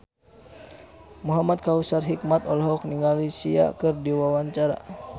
Muhamad Kautsar Hikmat olohok ningali Sia keur diwawancara